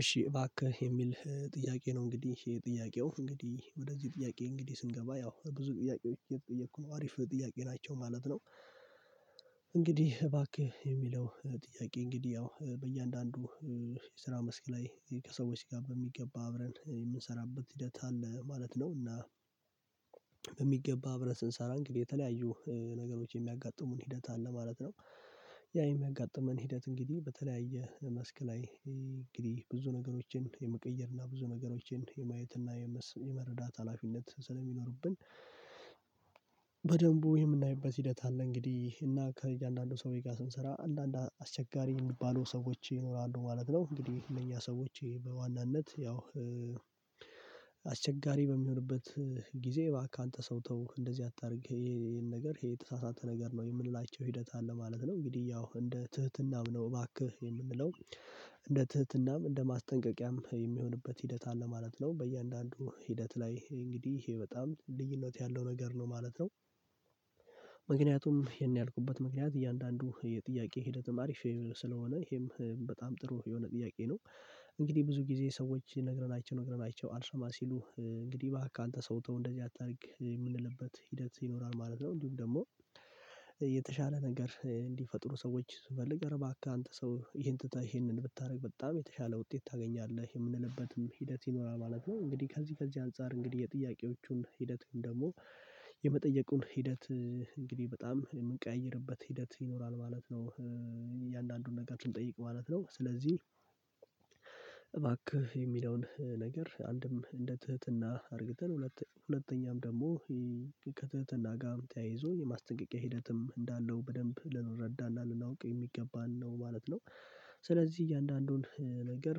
እሺ እባክህ የሚል ጥያቄ ነው እንግዲህ ይሄ ጥያቄው እንግዲህ ወደዚህ ጥያቄ እንግዲህ ስንገባ ያው ብዙ ጥያቄዎች እየተጠየኩ ነው አሪፍ ጥያቄ ናቸው ማለት ነው። እንግዲህ እባክህ የሚለው ጥያቄ እንግዲህ ያው በእያንዳንዱ የስራ መስክ ላይ ከሰዎች ጋር በሚገባ አብረን የምንሰራበት ሂደት አለ ማለት ነው እና በሚገባ አብረን ስንሰራ እንግዲህ የተለያዩ ነገሮች የሚያጋጥሙን ሂደት አለ ማለት ነው። ያ የሚያጋጥመን ሂደት እንግዲህ በተለያየ መስክ ላይ እንግዲህ ብዙ ነገሮችን የመቀየር እና ብዙ ነገሮችን የማየት እና የመረዳት ሀላፊነት ስለሚኖርብን። በደንቡ የምናይበት ሂደት አለ እንግዲህ እና ከእያንዳንዱ ሰዎይ ጋር ስንሰራ አንዳንድ አስቸጋሪ የሚባሉ ሰዎች ይኖራሉ ማለት ነው እንግዲህ እነኛ ሰዎች በዋናነት ያው አስቸጋሪ በሚሆንበት ጊዜ እባክህ አንተ ሰው ተው እንደዚህ አታድርግ ይሄ ይሄን ነገር ይሄ የተሳሳተ ነገር ነው የምንላቸው ሂደት አለ ማለት ነው። እንግዲህ ያው እንደ ትህትናም ነው እባክህ የምንለው እንደ ትህትናም እንደ ማስጠንቀቂያም የሚሆንበት ሂደት አለ ማለት ነው በያንዳንዱ ሂደት ላይ እንግዲህ ይሄ በጣም ልዩነት ያለው ነገር ነው ማለት ነው። ምክንያቱም ይሄን ያልኩበት ምክንያት እያንዳንዱ የጥያቄ ሂደትም አሪፍ ስለሆነ ይሄም በጣም ጥሩ የሆነ ጥያቄ ነው። እንግዲህ ብዙ ጊዜ ሰዎች ነግረናቸው ነግረናቸው አልሰማ ሲሉ እንግዲህ እባክህ አንተ ሰው ተው እንደዚህ አታድርግ የምንልበት ሂደት ይኖራል ማለት ነው እንዲሁም ደግሞ። የተሻለ ነገር እንዲፈጥሩ ሰዎች ስትፈልግ እረ ባካህ አንተ ሰው ይሄን ትተህ ይሄንን ብታደርግ በጣም የተሻለ ውጤት ታገኛለህ የምንልበትም ሂደት ይኖራል ማለት ነው። እንግዲህ ከዚህ ከዚህ አንፃር እንግዲህ የጥያቄዎቹን ሂደትም ደግሞ የመጠየቁን ሂደት እንግዲህ በጣም የምንቀይርበት ሂደት ይኖራል ማለት ነው። እያንዳንዱን ነገር ስንጠይቅ ማለት ነው ስለዚህ እባክህ የሚለውን ነገር አንድም እንደ ትህትና አድርገን ሁለተኛም ደግሞ ከትህትና ጋር ተያይዞ የማስጠንቀቂያ ሂደትም እንዳለው በደንብ ልንረዳ እና ልናውቅ የሚገባን ነው ማለት ነው። ስለዚህ እያንዳንዱን ነገር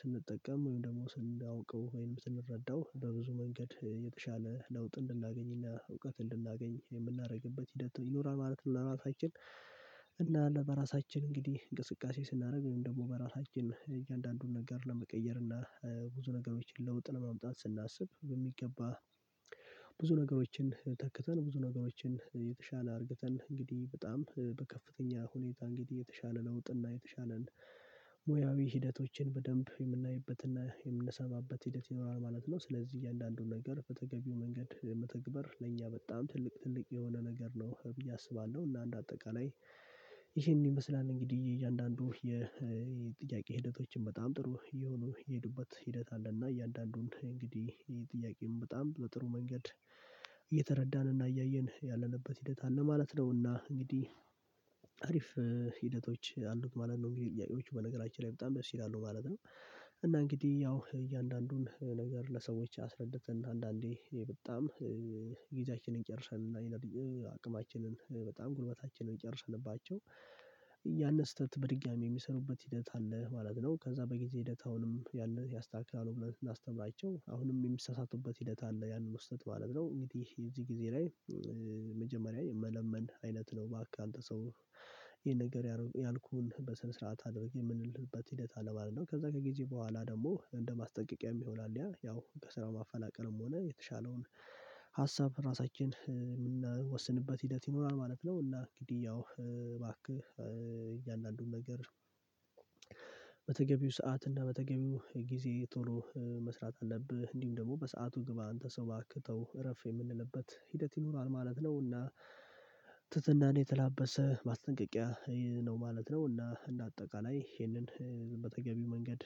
ስንጠቀም ወይም ደግሞ ስንውቀው ወይም ስንረዳው በብዙ መንገድ የተሻለ ለውጥ እንድናገኝ እውቀት እንድናገኝ የምናደርግበት ይኖራል ማለት ለራሳችን እና ለራሳችን እንግዲህ እንቅስቃሴ ስናደርግ ወይም ደግሞ በራሳችን እያንዳንዱን ነገር ለመቀየር እና ብዙ ነገሮችን ለውጥ ለማምጣት ስናስብ በሚገባ ብዙ ነገሮችን ተክተን ብዙ ነገሮችን የተሻለ አርግተን እንግዲህ በጣም በከፍተኛ ሁኔታ እንግዲህ የተሻለ ለውጥ እና የተሻለ ሙያዊ ሂደቶችን በደንብ የምናይበት እና የምንሰማበት ሂደት ይኖራል ማለት ነው። ስለዚህ እያንዳንዱን ነገር በተገቢው መንገድ መተግበር ለእኛ በጣም ትልቅ ትልቅ የሆነ ነገር ነው ብዬ አስባለሁ እና አንድ አጠቃላይ ይሄን ይመስላል እንግዲህ እያንዳንዱ የጥያቄ ሂደቶችን በጣም ጥሩ የሆኑ የሄዱበት ሂደት አለ እና እያንዳንዱን እንግዲህ ይሄ ጥያቄም በጣም በጥሩ መንገድ እየተረዳን እና እያየን ያለንበት ሂደት አለ ማለት ነው። እና እና እንግዲህ አሪፍ ሂደቶች አሉት ማለት ነው እንግዲህ ጥያቄዎቹ በነገራችን ላይ በጣም ደስ ይላሉ ማለት ነው። እና እንግዲህ ያው እያንዳንዱን ነገር ለሰዎች አስረድተን አንዳንዴ በጣም ጊዜያችንን ጨርሰን እና አቅማችንን በጣም ጉልበታችንን የጨርስንባቸው ያንን ስህተት በድጋሚ የሚሰሩበት ሂደት አለ ማለት ነው። ከዛ በጊዜ ሂደት አሁንም ያንን ያስተካክላሉ ብለን ላስተምራቸው አሁንም የሚሳሳቱበት ሂደት አለ ያንን ስህቱት ማለት ነው እንግዲህ እዚህ ጊዜ ላይ መጀመሪያ የመለመን አይለት ነው ባክህ አንተ ሰው ይሄን ነገር ያልኩህን በስነ ስርዓት አድርግ የምንልበት ሂደት አለ ማለት ነው። ከዛ ከጊዜ በኋላ ደግሞ እንደማስጠንቀቂያም ይሆናል ያ ያው ከስራው ማፈናቀልም ሆነ የተሻለውን ሀሳብ ራሳችን የምንወስንበት ሂደት ይኖራል ማለት ነው። እና እንግዲህ ያው እባክህ እያንዳንዱን ነገር በተገቢው ሰዓት እና በተገቢው ጊዜ ቶሎ መስራት አለብህ እንዲሁም ደግሞ በሰአቱ ግብ አንተ ሰው ባክተው እረፍ የምንልበት ሂደት ይኖራል ማለት ነው። እና ትትናን የተላበሰ ማስጠንቀቂያ ይሄ ነው ማለት ነው እና እንደ አጠቃላይ ይሄንን በተገቢው መንገድ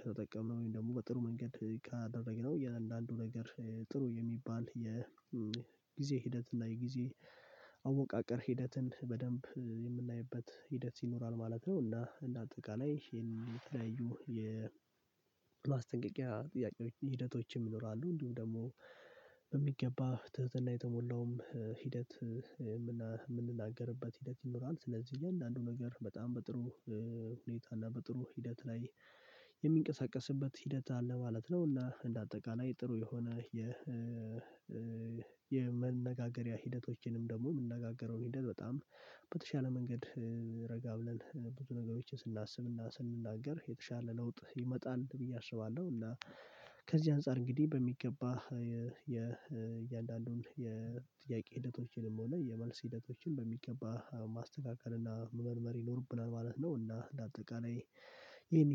ከተጠቀምን ወይም ደግሞ በጥሩ መንገድ ካደረግነው እያንዳንዱ ነገር ጥሩ የሚባል የጊዜ ሂደት እና የጊዜ አወቃቀር ሂደትን በደንብ የምናይበት ሂደት ይኖራል ማለት ነው። እና እንደ አጠቃላይ ይሄን የተለያዩ የማስጠንቀቂያ ጥያቄ ሂደቶችም ይኖራሉ እንዲሁም ደግሞ በሚገባ ትህትና የተሞላውም ሂደት የምንናገርበት ሂደት ይኖረዋል ስለዚህ እያንዳንዱ ነገር በጣም በጥሩ ሁኔታ እና በጥሩ ሂደት ላይ የሚንቀሳቀስበት ሂደት አለ ማለት ነው። እና እንደ አጠቃላይ ጥሩ የሆነ የ የመነጋገሪያ ሂደቶችንም ደግሞ የምንነጋገረውን ሂደት በጣም በተሻለ መንገድ ረጋ ብለን ብዙ ነገሮችን ስናስብና ስንናገር የተሻለ ለውጥ ይመጣል ብዬ አስባለሁ። እና ከዚህ አንፃር እንግዲህ በሚገባ የእያንዳንዱን የጥያቄ ሂደቶችንም ሆነ የመልስ ሂደቶችን በሚገባ ማስተካከል እና መመርመር ይኖርብናል ማለት ነው። እና እንደ አጠቃላይ ይሄን